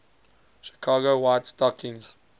chicago white stockings